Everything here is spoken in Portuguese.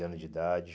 anos de idade.